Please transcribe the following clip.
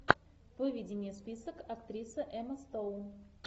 выведи мне список актриса эмма стоун